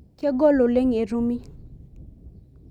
Kegol oleng etumi.